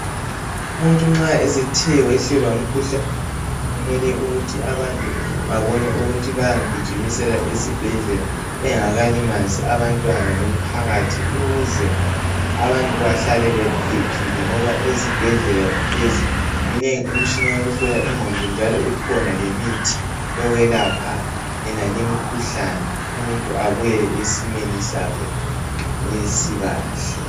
umuntu nxa esethe wehlelwa ngukhuhlane kumele ukuthi abantu babone ukuthi bayamgijimisela engakalimazi abantwana lomphakathi ukuze abantu behlale bephephile ngoba ezibhedlela lezi minengi imitshina yokuhlola ingqondo njalo ikhona lemithi yokwelapha yonale imikhuhlane umuntu abuyele esimeni sakhe esikahle